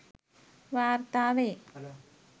වාර්තා වේ.